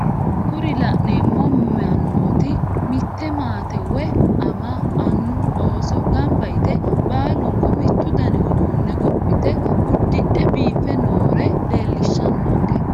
Kuri la'neemo mannooti mitte maate woye ama, annu, ooso gamba yite baalunku mittu danni uduunne gophite uddidhe biife noore lellishshanonke.